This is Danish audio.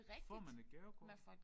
Får man et gavekort?